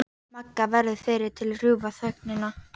Magga verður fyrri til að rjúfa þögnina.